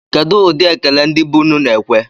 Kedụ ụdị ekele ndị be unu na-ekwe?